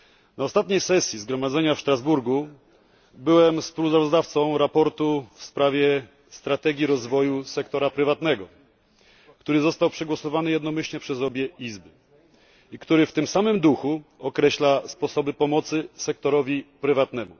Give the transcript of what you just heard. Na ostatniej sesji Zgromadzenia w Strasburgu byłem współsprawozdawcą raportu w sprawie strategii rozwoju sektora prywatnego, który został przegłosowany jednomyślnie przez obie Izby i który w tym samym duchu określa sposoby pomocy sektorowi prywatnemu.